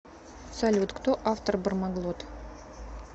салют кто автор бармаглот